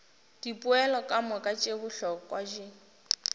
dipoelo kamoka tše bohlokwa di